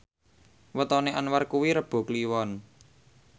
wetone Anwar kuwi Rebo Kliwon